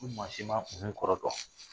Ni maa si m'a uhun kɔrɔ dɔn